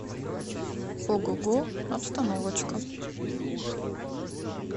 огого обстановочка